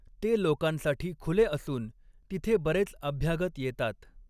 ते लोकांसाठी खुले असून तिथे बरेच अभ्यागत येतात.